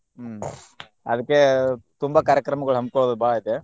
ಹ್ಮ್ ಅದ್ಕೆ ತುಂಬಾ ಕಾರ್ಯಕ್ರಮಗೊಳ್ ಹಮ್ಮ್ಕೊಳ್ಳೊದ್ ಬಾಳ ಐತೆ.